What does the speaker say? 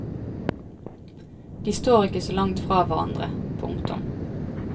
De står ikke så langt fra hverandre. punktum